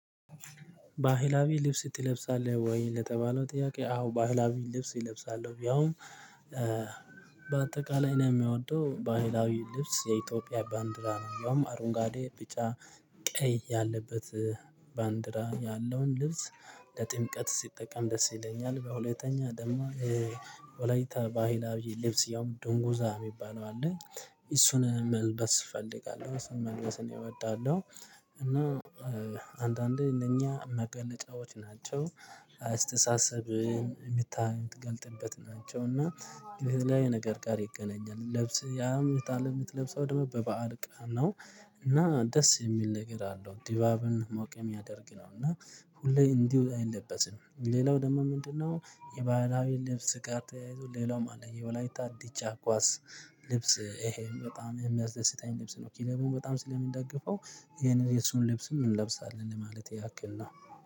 ባህላዊ ልብስ ትለብሳለህ ወይ ለተባለው ጥያቄ? አዎ ባህላዊ ልብስ እለብሳለው ያውም በአጠቃላይ እኔ የምወደው ባህላዊ ልብስ የኢትዮጵያ ባንዲራ ነው ያውም አረንጓዴ ቢጭዐ ቀይ ያለበት ባንዲራ ያለውን ልብስ ለጥምቀት ስጠቀም ደስ ይለኛል። በሁለተኛ ደግሞ የወላይታ ባህላዊ ልብስ ያውም ዶንጎዛ የሚባል አለ እሱን መልበስ እፈልጋለሁ እሱንም መልበስ እወዳለሁ። እና አንዳንዴ እነኛ መገለጫዎች ናቸው አስተሳሰብን የሚገለጥበት ናቸው እና የተለያየ ነገር ጋር ይገናኛል። ለብሰ ያም እህት አለ የምትለብሰው ደግሞ በበዓል ቀን ነው እና ደስ የሚል ነገር አለው። ዲባብን ሞቅ የሚያደርግ ነው እና ሁሌ እንዲህ አይለበስም ሌላው ደግሞ ምንድነው? የባህላዊ ልብስ ቀር ተያይዞ ሌላውም አለ የወላይታ ዲቻ ኳስ ልብስ ይሄም በጣም የሚያስደስተኝ ልብስ ነው። ክለቡን በጣም ስለምደግፈው ይህን የእሱን ልብስም እንለብሳለን ለማለት ያክል ነው